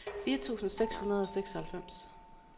fire tusind seks hundrede og seksoghalvfems